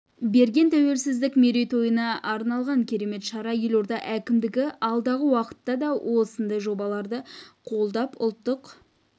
берген тәуелсіздік мерейтойына арналған керемет шара елорда әкімдігі алдағы уақытта да осындай жобаларды қолдап ұлттық